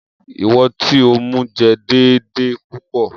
Iwọn ti o mu jẹ deede pupọ.